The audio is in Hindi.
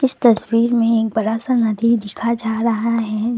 तस्वीर में एक बड़ा सा नदी देखा जा रहा है।